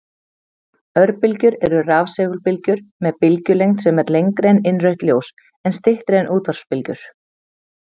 Örbylgjur eru rafsegulbylgjur með bylgjulengd sem er lengri en innrautt ljós en styttri en útvarpsbylgjur.